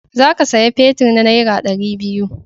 Za ka saya fetir na nera dari biyu